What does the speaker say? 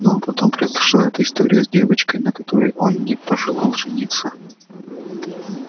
ну а потом произошла эта история с девчонкой на которой он не пожелал жениться